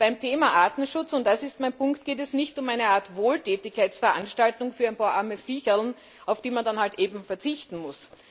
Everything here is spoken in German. Beim Thema Artenschutz, und das ist mein Punkt, geht es nicht um eine Art Wohltätigkeitsveranstaltung für ein paar arme Viecherln, auf die man dann halt verzichten muss.